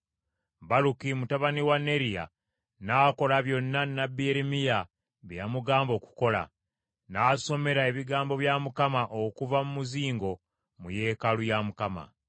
Baluki mutabani wa Neriya n’akola byonna nnabbi Yeremiya bye yamugamba okukola; n’asomera, ebigambo bya Mukama okuva mu muzingo, mu yeekaalu ya Mukama .